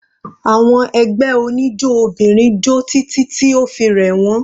Àwọn ẹgbẹ́ oníjó obìnrin jó títí tí o fi rẹ̀ wọ́n.